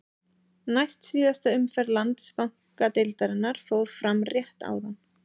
Næst síðasta umferð Landsbankadeildarinnar fór fram rétt áðan.